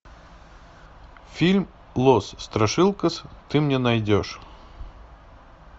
фильм лос страшилкас ты мне найдешь